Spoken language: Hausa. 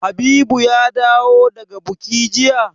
Habibu ya dawo daga buki jiya?